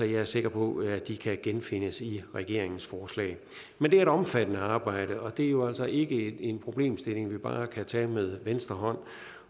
jeg er sikker på at de kan genfindes i regeringens forslag men det er et omfattende arbejde og det er jo altså ikke en problemstilling vi bare kan tage med venstre